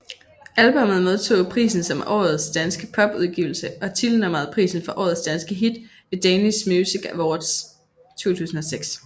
Albummet modtog prisen som Årets danske pop udgivelse og titelnummeret prisen for Årets danske hit ved Danish Music Awards 2006